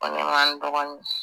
Ko ne ma n dɔgɔnin